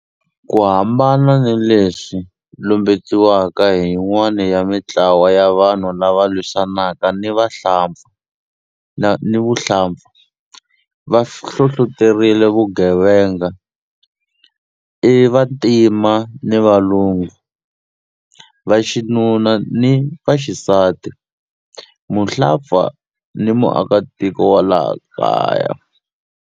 Ku hambana ni leswi lumbetiwaka hi yin'wana ya mitlawa ni vanhu lava lwisanaka ni vuhlampfa, va hlohloterile vugevenga i vantima ni valungu, vaxinuna ni vaxisati, muhlampfa ni muakatiko wa laha kaya.